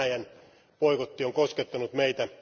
Venäjän boikotti on koskettanut meitä.